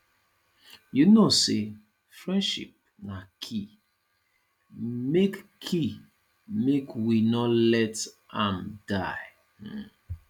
you know say friendship na key make key make we no let am die um